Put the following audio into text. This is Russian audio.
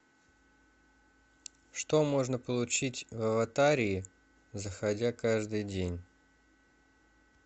что можно получить в аватарии заходя каждый день